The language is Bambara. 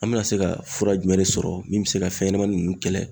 An bɛna se ka fura jumɛn de sɔrɔ min bɛ se ka fɛn ɲɛnamani nunnu kɛlɛ?